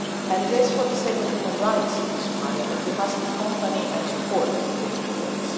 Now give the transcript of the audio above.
It is for the sake of human rights in Somalia that we must accompany and support these reforms.